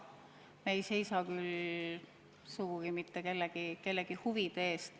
Me ei seisa küll sugugi mitte kellegi huvide eest.